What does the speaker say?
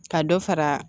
Ka dɔ fara